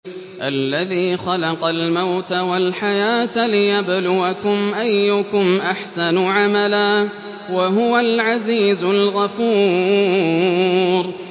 الَّذِي خَلَقَ الْمَوْتَ وَالْحَيَاةَ لِيَبْلُوَكُمْ أَيُّكُمْ أَحْسَنُ عَمَلًا ۚ وَهُوَ الْعَزِيزُ الْغَفُورُ